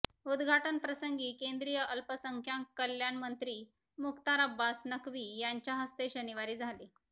उदघाटनप्रसंगी केंद्रीय अल्पसंख्यांक कल्याण मंत्री मुख्तार अब्बास नकवी यांच्या हस्ते शनिवारी झाले